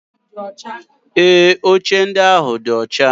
Ee, oche ndị ahụ dị ọcha.